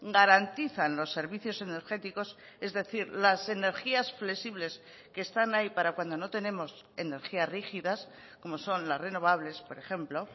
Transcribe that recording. garantizan los servicios energéticos es decir las energías flexibles que están ahí para cuando no tenemos energías rígidas como son las renovables por ejemplo